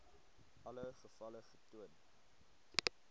alle gevalle getoon